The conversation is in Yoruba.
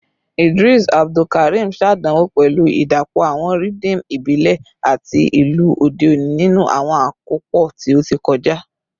Idris Abdulkarim ṣàdánwò pẹ̀lú ìdàpọ̀ àwọn rhythm ìbílẹ̀ àti ìlù òde òní nínú àwọn àkópọ̀ tí ó ti kọjá